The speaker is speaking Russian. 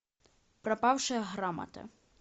пропавшая грамота